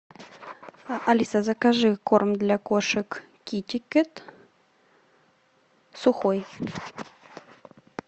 алиса закажи корм для кошек китикет сухой